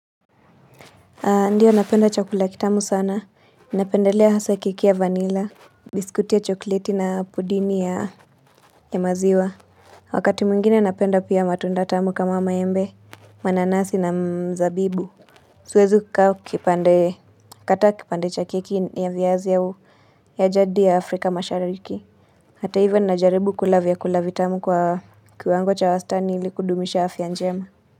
Ndiyo napenda chakula ya kitamu sana, napendelea haswa ya keki ya vanila, biskuti ya chokleti na pudini ya maziwa. Wakati mwingine napenda pia matunda tamu kama maembe, mananasi na mzabibu. Siwezi kukau kipande, kata kipande cha keki ni ya viaz au, ya jadi ya Afrika mashariki. Hata hivyo najaribu kulavya kulavya tamu kwa kiwango cha wastani ilikudumisha hafi ya njema.